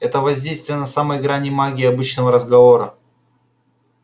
это воздействие на самой грани магии обычного разговора